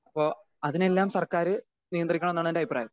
Speaker 2 അപ്പോ അതിനെയെല്ലാം സർക്കാര് നിയന്ത്രിക്കണോന്നാണ് എൻ്റെ അഭിപ്രായം.